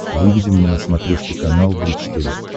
выведи мне на смотрешке канал бридж тв